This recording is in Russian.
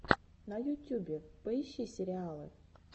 на ютюбе поищи сериалы